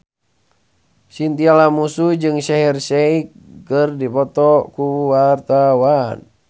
Chintya Lamusu jeung Shaheer Sheikh keur dipoto ku wartawan